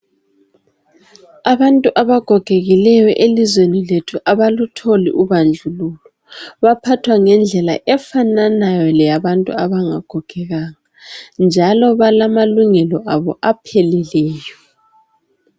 Abantu abagogekileyo elizweni lethu abalutholi ubandlululo. Baphathwa ngendlela efananayo leyabantu abangagogekanga njalo balamalungelo abo apheleleyo.